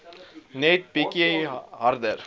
net bietjie harder